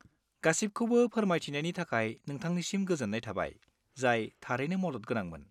गासिबखौबो फोरमायथिनायनि थाखाय नोंथांनिसिम गोजोन्नाय थाबाय, जाय थारैनो मदद गोनांमोन।